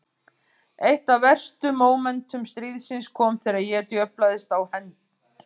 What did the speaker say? Eitt af verstu mómentum stríðsins kom þegar ég djöflaðist á hend